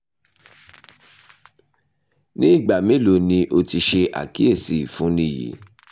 ni igba melo ni o ti ṣe akiyesi ifunni yii